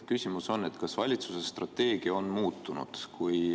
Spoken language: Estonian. Küsimus on, kas valitsuse strateegia on muutunud.